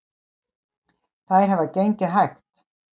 Þær hafa gengið hægt